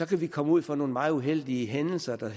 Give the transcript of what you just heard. kan vi komme ud for nogle meget uheldige hændelser der